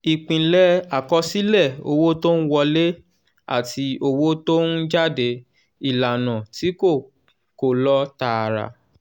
ìpìlẹ̀ àkọsílẹ̀ owó tó ń wọlé àti owó tó ń jáde (ìlànà tí kò kò lọ tààrà).